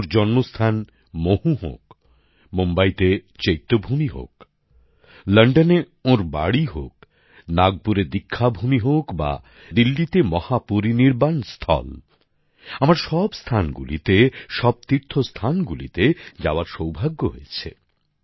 ওঁর জন্মস্থান মহু হোক মুম্বাইতে চৈত্যভূমি হোক লন্ডনে ওঁর বাড়ী হোক নাগপুরে দীক্ষাভূমি হোক বা দিল্লিতে মহাপরিনির্বান স্থল আমার সব স্থানগুলিতে সব তীর্থস্থানগুলিতে যাওয়ার সৌভাগ্য হয়েছে